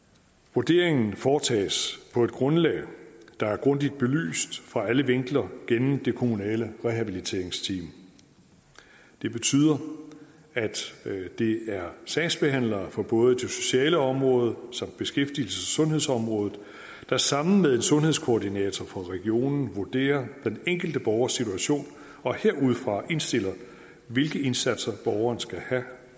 vurderingen foretages på et grundlag der er grundigt belyst fra alle vinkler af det kommunale rehabiliteringsteam det betyder at det er sagsbehandlere fra både det sociale område samt beskæftigelses og sundhedsområdet der sammen med en sundhedskoordinator fra regionen vurderer den enkelte borgers situation og herudfra indstiller hvilke indsatser borgeren skal have